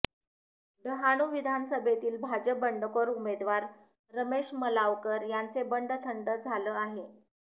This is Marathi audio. डहाणू विधानसभेतील भाजप बंडखोर उमेदवार रमेश मलावकर यांचे बंड थंड झालं आहे